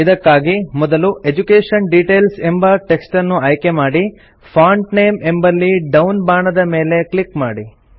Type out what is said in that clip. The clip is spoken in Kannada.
ಇದಕ್ಕಾಗಿ ಮೊದಲು ಎಡ್ಯುಕೇಷನ್ ಡಿಟೇಲ್ಸ್ ಎಂಬ ಟೆಕ್ಸ್ಟನ್ನು ಆಯ್ಕೆಮಾಡಿ ಫಾಂಟ್ ನೇಮ್ ಎಂಬಲ್ಲಿ ಡೌನ್ ಬಾಣದ ಮೇಲೆ ಕ್ಲಿಕ್ ಮಾಡಿ